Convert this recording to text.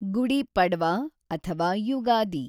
ಗುಡಿ ಪಡ್ವಾ ಅಥವಾ ಯುಗಾದಿ